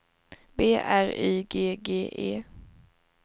B R Y G G E